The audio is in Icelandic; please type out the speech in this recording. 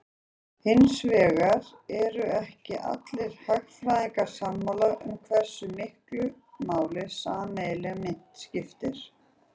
Hins vegar eru ekki allir hagfræðingar sammála um hversu miklu máli sameiginleg mynt skipti.